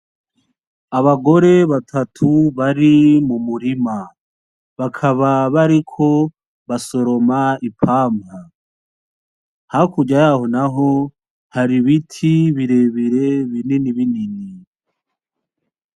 Abagore batatu bari m'umurima bakaba bariko basoroma ipampa hakurya yaho naho hari ibiti birebire binini binini.